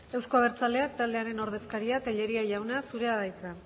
euzko abertzaleak taldearen ordezkaria tellería jauna zurea da hitza